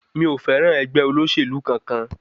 Mi ò fẹ́ràn ẹgbẹ́ olóṣèlú kankan.